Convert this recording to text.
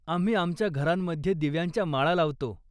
आम्ही आमच्या घरांमध्ये दिव्यांच्या माळा लावतो.